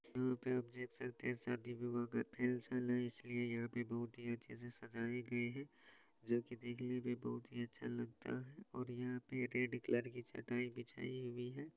यहाँ पे आप देख सकते हैं शादी विवाह का खेल चल रहा है इसलिए यहां पे बहुत ही अच्छे से सजाई गई है जो की देखने में बहुत ही अच्छा लगता है और यहां पर रेड कलर की चटाई बिछाई गई है।